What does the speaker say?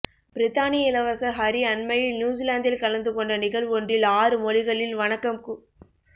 பிரித்தானிய இளவரசர் ஹரி அண்மையில் நியூசிலாந்தில் கலந்து கொண்ட நிகழ்வொன்றில் ஆறு மொழிகளில் வணக்கம் கூ